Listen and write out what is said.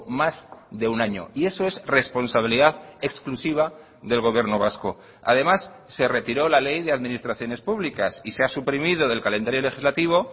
más de un año y eso es responsabilidad exclusiva del gobierno vasco además se retiró la ley de administraciones públicas y se ha suprimido del calendario legislativo